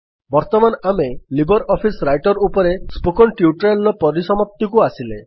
ବର୍ତ୍ତମାନ ଆମେ LibreOffice Writer ଉପରେ ସ୍ପୋକନ୍ ଟ୍ୟୁଟୋରିଆଲ୍ ର ସମାପ୍ତିକୁ ଆସିଲେ